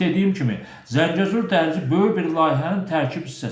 Çünki dediyim kimi, Zəngəzur dəhlizi böyük bir layihənin tərkib hissəsidir.